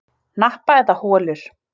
Hnappa eða holur?